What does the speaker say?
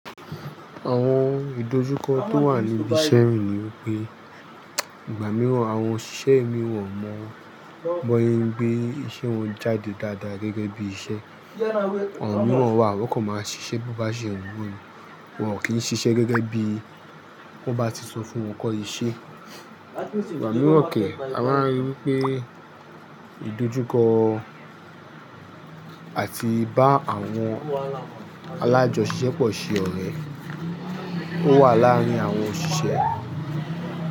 Àwọn ìdojúkọ tó wà níbi iṣẹ́ mi ní pé ìgbà mìíràn àwọn òṣìṣẹ́ mìíràn mọ̀ bọ́ yegbe iṣẹ́ wọn jáde dáadáa gẹ́gẹ́ bí iṣẹ́. Àwọn mìíràn wà, wọ́n kò máa ṣiṣẹ́ bí bá ṣe wù wọ́n, wọn ò kí ń ṣiṣẹ́ gẹ́gẹ́ bí wọ́n bá ti sọ fún wọn kọ́ iṣẹ́. Ìgbà mìíràn kẹ̀ a máa rí wípé ìdojúkọ àti bá àwọn alájọṣepọ̀ ṣe ọ̀rẹ́ ó wà láàárín àwọn òṣìṣẹ́.